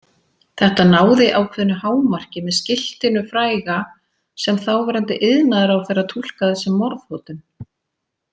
Þetta náði ákveðnu hámarki með skiltinu fræga sem þáverandi iðnaðarráðherra túlkaði sem morðhótun.